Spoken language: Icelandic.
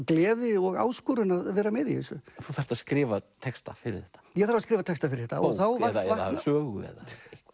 gleði og áskorun að vera með í þessu þú þarft að skrifa texta fyrir þetta ég þarf að skrifa texta fyrir þetta bók eða sögu eða